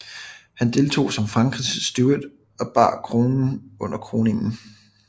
Han deltog som Frankrigs Steward og bar kronen under kroningen